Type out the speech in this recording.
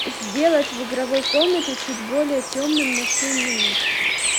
сделать в игровой комнате чуть более темным на семь минут